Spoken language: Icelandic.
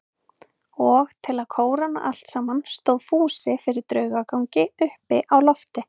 Og til að kóróna allt saman stóð Fúsi fyrir draugagangi uppi á lofti.